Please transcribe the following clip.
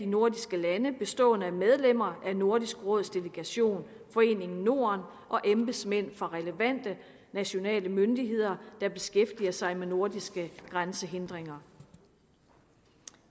nordiske lande bestående af medlemmer af nordisk råds delegation foreningen norden og embedsmænd fra relevante nationale myndigheder der beskæftiger sig med nordiske grænsehindringer